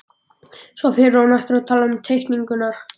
Svo fer hún aftur að tala um teikninguna